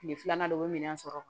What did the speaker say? Kile filanan dɔw bɛ minɛn sɔrɔ